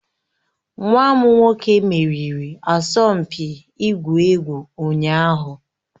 Nwa m nwoke meriri asọmpi ịgwu egwu ụnyaahụ